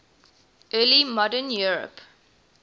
early modern europe